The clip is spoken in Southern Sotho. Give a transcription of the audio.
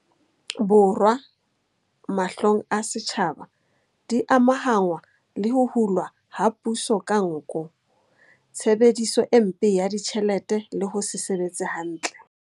Borwa, mahlong a setjhaba, di amahanngwa le ho hulwa ha puso ka nko, tshebediso e mpe ya ditjhelete le ho se sebetse hantle.